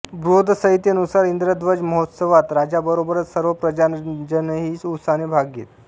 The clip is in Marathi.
बृहदसंहितेनुसार इंद्रध्वज महोत्सवात राजाबरोबरच सर्व प्रजाजनही उत्साहाने भाग घेत